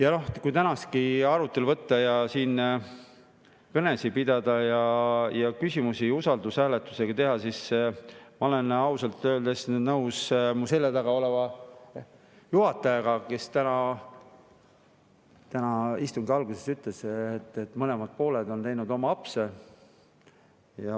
Aga tänasesse arutelusse, kõnede pidamisse ja küsimuste otsustamisse usaldushääletusega, siis ma olen ausalt öeldes nõus mu selja taga oleva juhatajaga, kes täna istungi alguses ütles, et mõlemad pooled on teinud apse.